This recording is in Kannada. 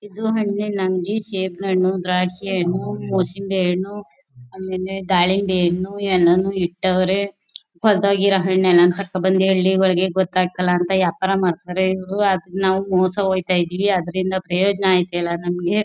ಇದು ಹಣ್ಣಿನಂಗಡಿ ಸೇಬಿನ ಹಣ್ಣು ದ್ರಾಕ್ಷಿ ಹಣ್ಣು ಮುಸುಂಬಿ ಹಣ್ಣು ಆಮೇಲೆ ದಾಳಿಂಬೆ ಹಣ್ಣು ಎಲ್ಲಾನು ಇಟ್ಟವ್ರೆ ಕೊಳ್ತು ಹೋಗಿರೋ ಹಣ್ಣುನ ಕರ್ಕೊ ಬಂದು ಹೇಳ್ಲಿ ಇವಳಿಗೆ ಗೊತ್ತಾಗ್ತಾ ಇಲ್ಲ ಅಂತ ಯಾಪಾರ ಮಾಡ್ತಾರೆ ಇವ್ರು ಆದ್ರೆ ನಾವು ಮೋಸ ಹೋಯ್ತಾ ಇದ್ದಿವಿ ಅದ್ರಿಂದ ಪ್ರಯೋಜನ ಆಗ್ತಿಲ್ಲ ನಮಗೆ.